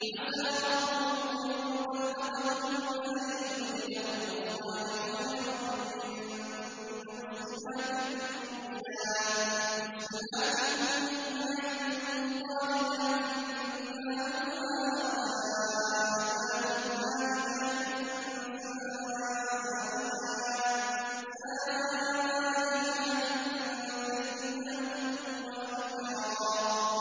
عَسَىٰ رَبُّهُ إِن طَلَّقَكُنَّ أَن يُبْدِلَهُ أَزْوَاجًا خَيْرًا مِّنكُنَّ مُسْلِمَاتٍ مُّؤْمِنَاتٍ قَانِتَاتٍ تَائِبَاتٍ عَابِدَاتٍ سَائِحَاتٍ ثَيِّبَاتٍ وَأَبْكَارًا